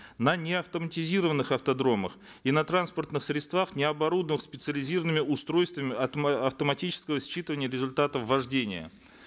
на неавтоматизированных автодромах и на транспортных средствах необорудованных специализированными устройствами автоматического считывания результатов вождения